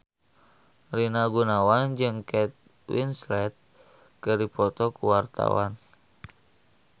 Rina Gunawan jeung Kate Winslet keur dipoto ku wartawan